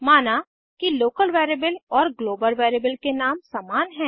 माना कि local variable और ग्लोबल वेरिएबल के नाम समान हैं